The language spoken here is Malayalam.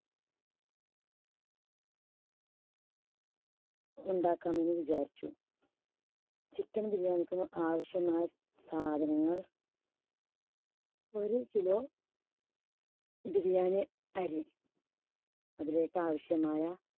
ഉണ്ടാക്കാമെന്ന് വിചാരിച്ചു. chicken biriyani ക്ക് ആവശ്യമായ സാധനങ്ങൾ ഒരു kilo biriyani അരി അതിലേക്ക് ആവശ്യമായ